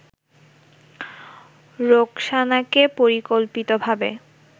রোকসানাকে পরিকল্পিতভাবে